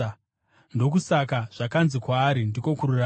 Ndokusaka “zvakanzi kwaari ndiko kururama.”